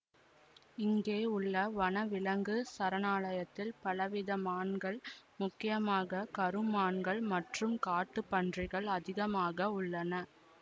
இங்கே உள்ள வன விலங்கு சரணாலயத்தில் பலவித மான்கள் முக்கியமாக கருமான்கள் மற்றும் காட்டுப் பன்றிகள் அதிகமாக உள்ளன